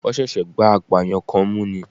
Wọ́n ṣẹ̀ṣẹ̀ gbá apààyàn kan mú ni